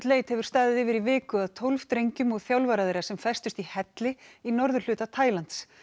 leit hefur staðið yfir í viku að tólf drengjum og þjálfara þeirra sem festust í helli í norðurhluta Taílands